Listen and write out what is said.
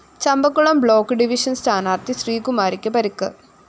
Champakulam block division സ്ഥാനാര്‍ത്ഥി ശ്രീകുമാരിക്ക് പരിക്ക്